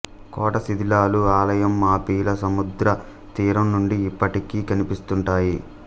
కోట శిథిలాలు ఆలయం మాపిల సముద్రతీరం నుండి ఇప్పటికీ కనిపిస్తుంటాయి